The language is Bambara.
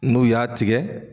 N'u y'a tigɛ